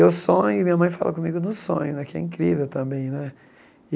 Eu sonho e minha mãe fala comigo no sonho né, que é incrível também né.